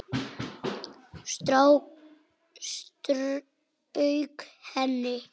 Strauk henni.